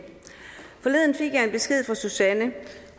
forleden fik jeg en besked fra susanne